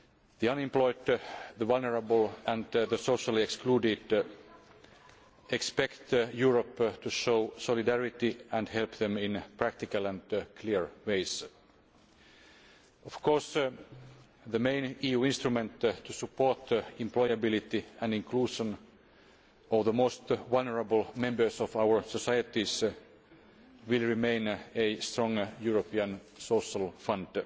The unemployed, the vulnerable and the socially excluded expect Europe to show solidarity and help them in practical and clear ways. The main EU instrument to support the employability and inclusion of the most vulnerable members of our societies will, of course, remain a strong European Social Fund.